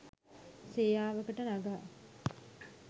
සේයාවකට නගා